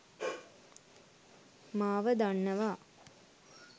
මාව දන්නවා